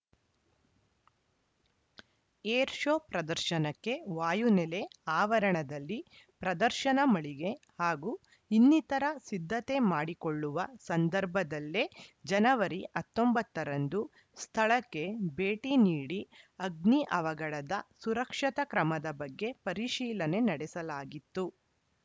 air show ಪ್ರದರ್ಶನಕ್ಕೆ ವಾಯುನೆಲೆ ಆವರಣದಲ್ಲಿ ಪ್ರದರ್ಶನ ಮಳಿಗೆ ಹಾಗೂ ಇನ್ನಿತರ ಸಿದ್ಧತೆ ಮಾಡಿಕೊಳ್ಳುವ ಸಂದರ್ಭದಲ್ಲೇ ಜನವರಿ ಹತ್ತೊಂಬತ್ತ ರಂದು ಸ್ಥಳಕ್ಕೆ ಭೇಟಿ ನೀಡಿ ಅಗ್ನಿ ಅವಘಡದ ಸುರಕ್ಷತಾ ಕ್ರಮದ ಬಗ್ಗೆ ಪರಿಶೀಲನೆ ನಡೆಸಲಾಗಿತ್ತು